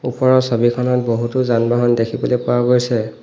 ওপৰৰ ছবিখনত বহুতো যান বাহন দেখিবলৈ পোৱা গৈছে।